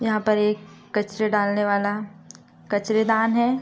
यहां पर एक कचरा डालने वाला कचरे दान है।